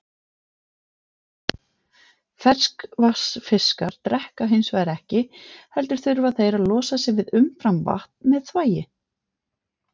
Ferskvatnsfiskar drekka hins vegar ekki heldur þurfa þeir að losa sig við umframvatn með þvagi.